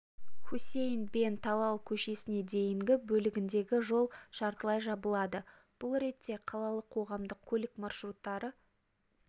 хусейн бен талал көшесіне дейінгі бөлігінде жол жартылай жабылады бұл ретте қалалық қоғамдық көлік маршруттары